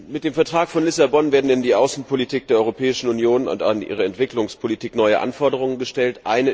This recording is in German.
Mit dem Vertrag von Lissabon werden an die Außenpolitik der Europäischen Union und an ihre Entwicklungspolitik neue Anforderungen gestellt.